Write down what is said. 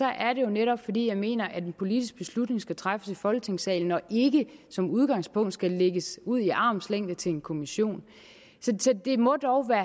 er det jo netop fordi jeg mener at en politisk beslutning skal træffes i folketingssalen og ikke som udgangspunkt skal lægges ud i armslængde til en kommission så det må dog være